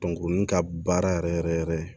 ka baara yɛrɛ yɛrɛ yɛrɛ